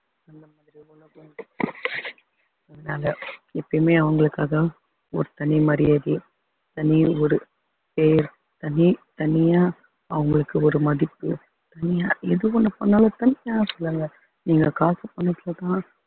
அதனால எப்பயுமே அவங்களுக்காக ஒரு தனி மரியாதை தனி ஒரு பேர் தனி தனியா அவங்களுக்கு ஒரு மதிப்பு தனியா எது ஒண்ணு பண்ணாலும் தனியா சொல்லுங்க நீங்க காசு பணத்துலதான்